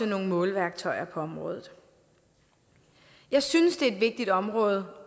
nogle måleværktøjer på området jeg synes det er et vigtigt område